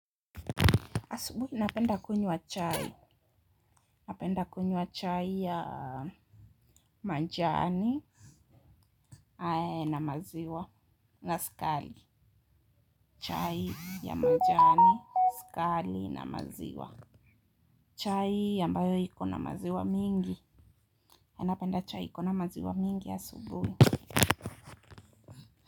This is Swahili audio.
Asubuhi napenda kunywa chai. Napenda kunywa chai ya majani na maziwa. Na sukari. Chai ya majani, skali na maziwa. Chai ambayo iko na maziwa mingi. Napenda chai iko na maziwa mingi asubuhi.